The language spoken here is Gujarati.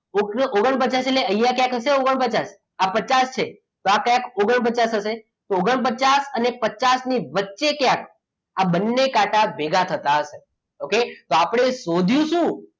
ઓગણપચાસ એટલે અહીંયા ક્યાંક હશે અહીં ઓગણપચાસ આ પચાસ છે તો આ ક્યાંક ઓગણપચાસ થશે તો ઓગણપચાસઅને પચાસ ની વચ્ચે ક્યાંક આ બંને કાંટા ભેગા થતા હશે okay તો આપણે શોધ્યું શું